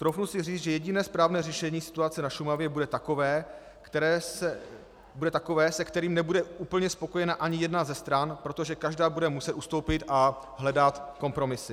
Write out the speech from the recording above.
Troufnu si říct, že jediné správné řešení situace na Šumavě bude takové, se kterým nebude úplně spokojena ani jedna ze stran, protože každá bude muset ustoupit a hledat kompromisy.